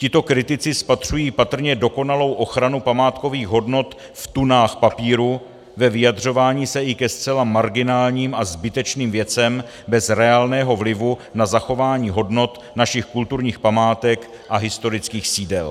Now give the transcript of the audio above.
Tito kritici spatřují patrně dokonalou ochranu památkových hodnot v tunách papíru, ve vyjadřování se i ke zcela marginálním a zbytečným věcem bez reálného vlivu na zachování hodnot našich kulturních památek a historických sídel.